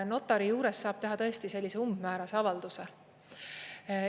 Notari juures saab teha tõesti sellise umbmäärase avalduse.